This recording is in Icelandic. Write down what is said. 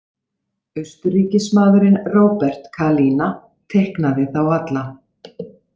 Austuríkismaðurinn Robert Kalina teiknaði þá alla.